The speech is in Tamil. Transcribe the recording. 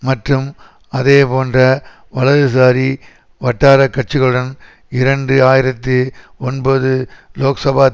மற்றும் அதே போன்ற வலதுசாரி வட்டாரக்கட்சிகளுடன் இரண்டு ஆயிரத்தி ஒன்பது லோக்சபாத்